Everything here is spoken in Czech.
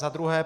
Za druhé.